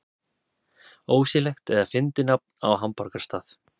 Ósiðlegt eða fyndið nafn á hamborgarastað